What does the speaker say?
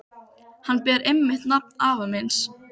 Hann ber einmitt nafn afa míns.